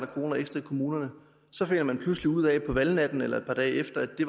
kroner ekstra i kommunerne så finder man pludselig ud af på valgnatten eller et par dage efter at det